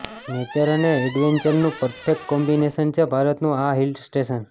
nature અને એડવેન્ચરનું perfect combination છે ભારતનું આ હિલસ્ટેશન